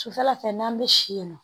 Sufɛla fɛ n'an bɛ si yen nɔ